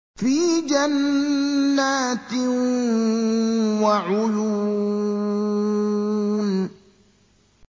فِي جَنَّاتٍ وَعُيُونٍ